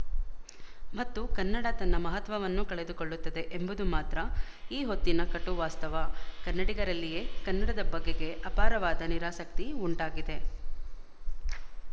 ಮತ್ತು ಕನ್ನಡ ತನ್ನ ಮಹತ್ವವನ್ನೂ ಕಳೆದುಕೊಳ್ಳುತ್ತದೆ ಎಂಬುದು ಮಾತ್ರ ಈ ಹೊತ್ತಿನ ಕಟು ವಾಸ್ತವ ಕನ್ನಡಿಗರಲ್ಲಿಯೇ ಕನ್ನಡದ ಬಗೆಗೆ ಅಪಾರವಾದ ನಿರಾಸಕ್ತಿ ಉಂಟಾಗಿದೆ